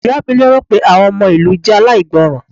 Ìyá mi lérò pé àwọn ọmọ ìlú jẹ́ aláìgbọràn.